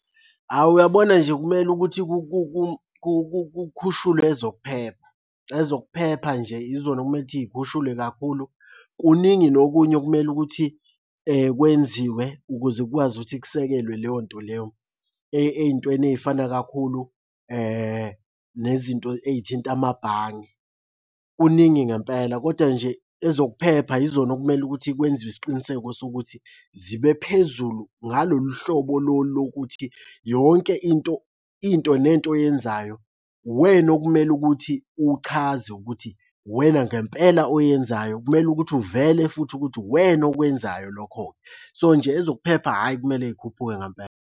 Awu uyabona nje, kumele ukuthi kukhushulwe ezokuphepha, ezokuphepha nje izona ekumele ukuthi y'khushulwe kakhulu. Kuningi nokunye okumele ukuthi kwenziwe ukuze kukwazi ukuthi kusekelwe leyo nto leyo. Ey'ntweni ey'fana kakhulu nezinto ey'thinta amabhange. Kuningi ngempela koda nje ezokuphepha yizona okumele ukuthi kwenziwe isiqiniseko sokuthi zibe phezulu ngalolu hlobo lolu lokuthi yonke into, into nento oyenzayo uwena okumele ukuthi uchaze ukuthi uwena ngempela oyenzayo. Kumele ukuthi uvele futhi ukuthi uwena okwenzayo lokho-ke. So, nje ezokuphepha, hhayi kumele y'khuphuke ngempela.